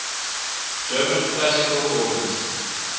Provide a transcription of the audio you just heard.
german classical organists